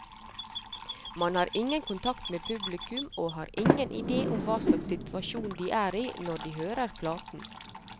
Man har ingen kontakt med publikum, og har ingen idé om hva slags situasjon de er i når de hører platen.